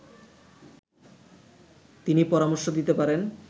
তিনি পরামর্শ দিতে পারেন